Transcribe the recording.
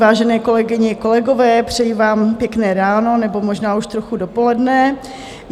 Vážené kolegyně, kolegové, přeji vám pěkné ráno nebo možná už trochu dopoledne.